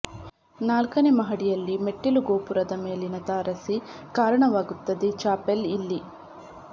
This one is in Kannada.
ನಾಲ್ಕನೇ ಮಹಡಿಯಲ್ಲಿ ಮೆಟ್ಟಿಲು ಗೋಪುರದ ಮೇಲಿನ ತಾರಸಿ ಕಾರಣವಾಗುತ್ತದೆ ಚಾಪೆಲ್ ಇಲ್ಲಿ